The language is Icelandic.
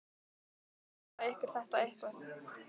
Auðveldar það ykkur þetta eitthvað?